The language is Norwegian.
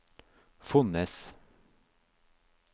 Fonnes